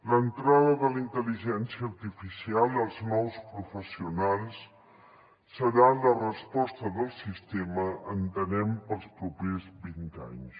l’entrada de la intel·ligència artificial els nous professionals seran la resposta del sistema entenem per als propers vint anys